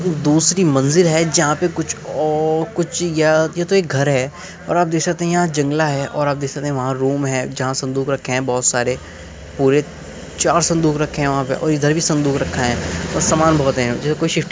दूसरी मंज़िल है जहा पे कुछ और कुछ या या तो एक घर है और आप देख सकते हैं और आप देख सकते है यहाँ पे एक जंगला है और आप देख सकते हैं वहां रूम है जहा संदूक रखे हैं पूरे चार संदूक है और इधर भी संदूक रखा है और सामान बहुत है जैसे की कोई शिफ्ट --